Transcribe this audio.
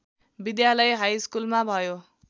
विद्यालय हाइस्कुलमा भयो